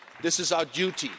This is our duty.